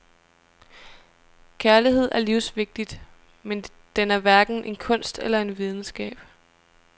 Kærlighed er livsvigtig, men den er hverken en kunst eller en videnskab.